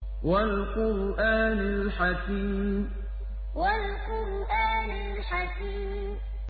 وَالْقُرْآنِ الْحَكِيمِ وَالْقُرْآنِ الْحَكِيمِ